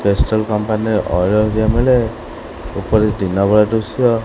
Pastel company ରେ ଅଇଳ ହରିକା ମିଳେ ଓପରେ ଦିନବେଳ ଦୃଶ୍ୟ।